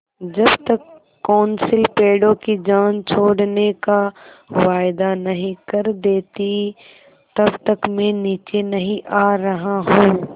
जब तक कौंसिल पेड़ों की जान छोड़ने का वायदा नहीं कर देती तब तक मैं नीचे नहीं आ रहा हूँ